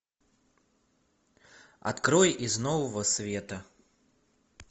открой из нового света